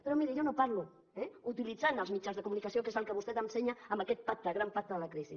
però miri jo no parlo eh utilitzant els mitjans de comunicació que és el que vostè ensenya amb aquest pacte gran pacte de la crisi